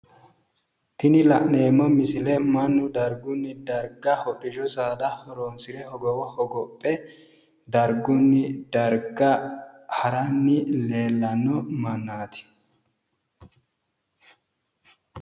Tini la'neemmo misile mannu dargunni darga hodhishahu saada horoonsire hogowo hogophe dargunni darga haranni leellano mannaati.